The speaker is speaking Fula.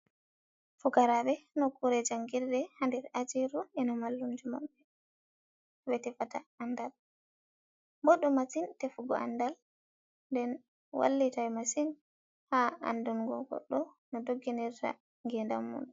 Fukarabe nokkure jangidde hadir ajiru. Ena mallumjomam be tefata andal. Boddu masin tefugo andal, nden wallitai masin ha andungo goddo no dogginirta ngedam mun.